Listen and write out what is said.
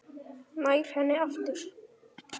Nær henni aftur.